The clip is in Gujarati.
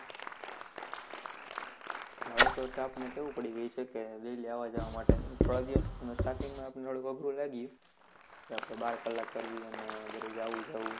ધારો કે હવે તો આપણને ટેવ પડી ગય છે, કે daily આવવા જવાની થોડા દિવસ starting માં થોડું અઘરું લાગ્યું રાત્રે બાર કલાક કરવી અને દરરોજ આવવું જવું